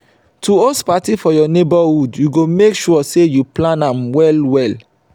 to host parti for your neighbourhood you go make sure say you plan am well well